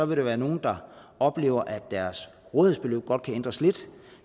vil være nogle der oplever at deres rådighedsbeløb godt kan ændres lidt